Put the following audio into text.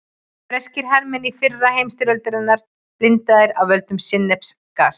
Breskir hermenn í fyrri heimsstyrjöldinni blindaðir af völdum sinnepsgass.